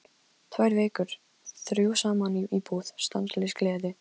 Tvær vikur, þrjú saman í íbúð, stanslaus gleði.